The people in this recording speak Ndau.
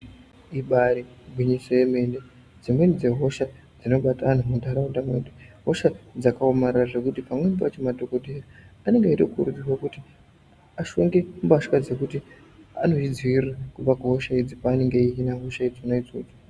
Ibairi gwinyiso yemene dzimweni dze hosha dzino bata antu mu ndaraunda mwedu hosha dzaka omarara zvekuti pamweni pacho madhokodheya anonga eyito kurudzirwa kuti ashonge mbatya dzekuti anozvi dzivirira kubva ku hosha idzi paanenge eyi hina hosha dzona dzodzo.